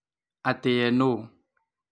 Atĩ ye nũ.